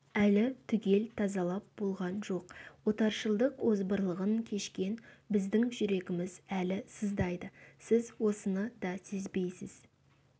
әлі түгел тазалап болған жоқ отаршылдық озбырлығын кешкен біздің жүрегіміз әлі сыздайды сіз осыны да сезбейсіз